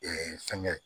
fɛngɛ